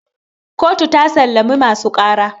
kotu ta sallami masu ƙara